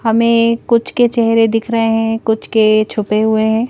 हमें कुछ के चेहरे दिख रहे हैं कुछ के छुपे हुए हैं।